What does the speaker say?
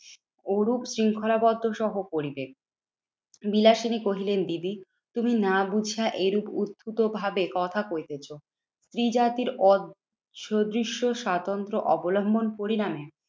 ওরূপ শৃঙ্খলাবদ্ধ সহ পরিবেশ। বিলাসিনী কহিলেন, দিদি তুমি না বুঝিয়া এরূপ উদ্ধত ভাবে কথা কহিতেছো স্ত্রী জাতির স্বাতন্ত্র অবলম্বন পরিণামে